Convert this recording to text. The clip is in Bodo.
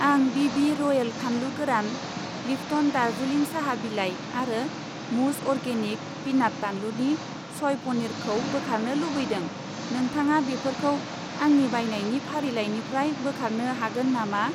आं बि.बि. रयेल फानलु गोरान, लिप्टन दार्जिलिं साहा बिलाइ आरो मुज अरगेनिक पिनाट बानलुनि स'य पनिर खौ बोखारनो लुबैदों, नोंथाङा बेफोरखौ आंनि बायनायनि फारिलाइनिफ्राय बोखारनो हागोन नामा?